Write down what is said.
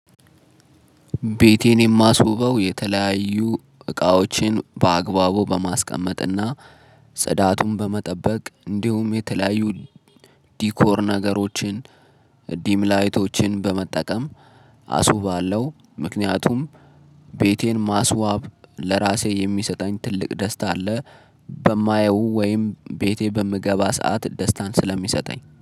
ቤቴን የማስውበው የተለያዩ እቃዎችን በአግባቡ በማስቀመጥና ጽዳቱን በመጠበቅ እንዲሁም የተለያዩ ዲኮር ነገሮችን ዲም ላይቶችን በመጠቀም አስውባለሁ። ምክንያቱም ቤቴን ማስዋብ ለራሴ የሚሰጠኝ ትልቅ ደስታ አለ በማየው ወይም ቤቴ በምገባ ሰዓት ደስታን ስለሚሰጠኝ